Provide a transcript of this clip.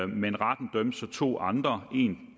men retten dømte så to andre en